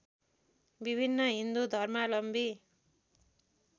विभिन्न हिन्दु धर्मालम्बी